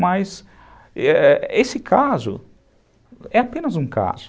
Mas, é é esse caso é apenas um caso.